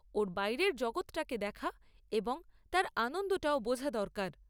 ওর বাইরের জগৎটাকে দেখা এবং তার আনন্দটাও বোঝা দরকার।